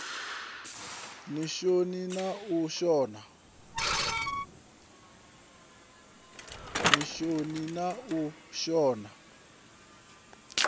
ni shoni na u shona